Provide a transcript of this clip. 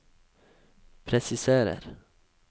presiserer